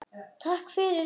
Takk fyrir allt, amma.